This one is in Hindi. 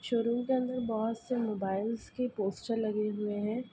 शोरूम के अंदर बोहोत से मोबाइलस के पोस्टर लगे हुए हैं।